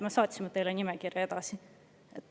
Me ju saatsime teile nimekirja edasi!